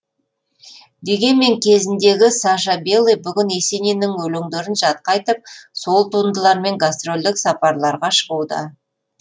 дегенмен кезіндегі саша белый бүгін есениннің өлеңдерін жатқа айтып сол туындылармен гастролдік сапарларға шығуда